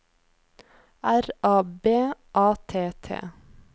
R A B A T T